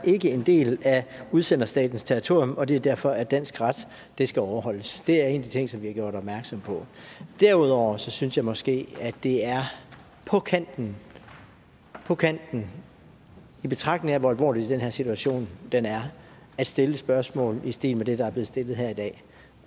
en del af udsenderstatens territorium og at det derfor er dansk ret der skal overholdes det er en af de ting som vi har gjort opmærksom på derudover synes jeg måske at det er på kanten på kanten i betragtning af hvor alvorlig den her situation er at stille spørgsmål i stil med det der er blevet stillet her i dag